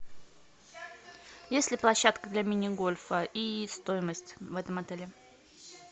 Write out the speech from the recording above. есть ли площадка для мини гольфа и стоимость в этом отеле